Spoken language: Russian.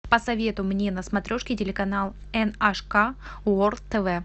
посоветуй мне на смотрешке телеканал эн аш ка ворлд тв